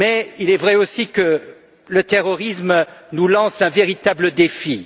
Il est vrai aussi que le terrorisme nous lance un véritable défi.